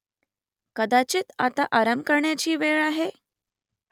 कदाचित आता आराम करण्याची वेळ आहे ?